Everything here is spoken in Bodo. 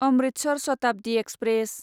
अम्रितसर शताब्दि एक्सप्रेस